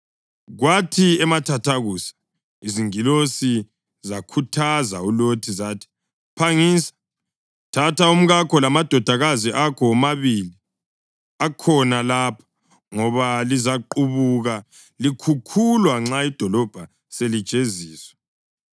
Kwathi emathathakusa izingilosi zakhuthaza uLothi zathi, “Phangisa! Thatha umkakho lamadodakazi akho womabili akhona lapha, ngoba lizaqabuka likhukhulwa nxa idolobho selijeziswa.”